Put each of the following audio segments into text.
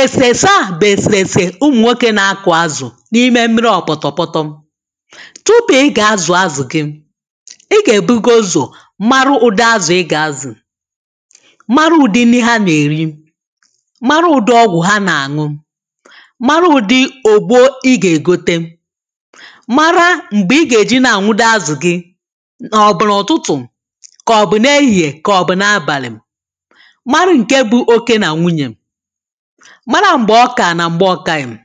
èsèèsè a bụ̀ èsèèsè ụmụ̀nwoke na-akụ̀ azụ̀ n’ime mmiri ọ̀pụ̀tọ̀pụtọ tupu ị gà-azụ̀ azụ̀ gị ị gà-èbugozù mara ụ̀dị azụ̀ ị gà-azụ̀ mara ụ̀dị nri ha nà-èri mara ụ̀dị ọgwụ̀ ha na-àṅụ mara ụ̀dị ògbò ị gà-ègote mara m̀gbè ị gà-èji na-àṅụdo azụ̀ gị, ka ọ bu na ụtụtụ, ka ọ bu n'ehihe, ka ọ bu n'abali. mara nke bụ oké na nwunye, mara m̀gbè ọkà nà m̀gbe ọkàghị̀be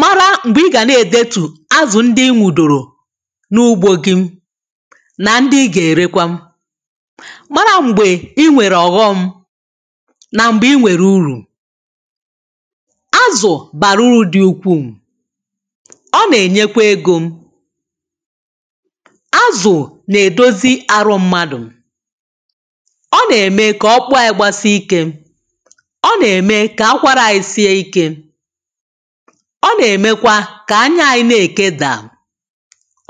mara m̀gbè ị gà ne-èdetù azụ̀ ndị inwu̇dòrò n’ugbȯ gị na ndị ị gà-èrekwa mara m̀gbè ị nwèrè ọ̀ghọm nà m̀gbè ị nwèrè urù azụ̀ bàrà uru̇ dị ukwuu ọ nà-ènyekwa egȯ azụ̀ nà-èdozi arụ mmadụ̀ ọ nà-ème kà okpụkpụ ya gbasie ikė, ọ na eme ka akwara anyị sie Ike ọ nà-èmekwa kà anya anyi nà-èkeda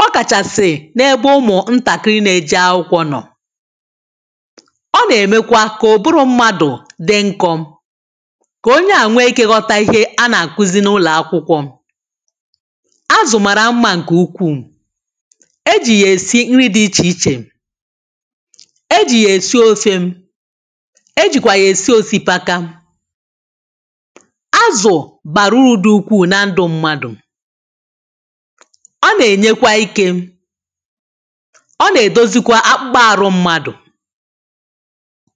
ọ kàchàsị̀ n’ebe ụmụ̀ ntàkiri na-eje akwụkwọ nọ̀ ọ nà-èmekwa kà ubụrụ mmadù dị nkụ kà onye à nwe ikėghọta ihe a nà-àkuzi n’ụlọ̀akwụkwọ azụ̀ mara mmȧ ǹkè ukwuù eji yė èsi nri dị ichè ichè eji yė èsi ofe, ejikwa ya esi osikapa azụ̀ bàrụ̀ ụrụ̀ dị ukwuu na ndụ̀ mmadụ̀ ọ na-enyekwa ike ọ na-edozi kwa akpụkpọ arụ̀ mmadụ̀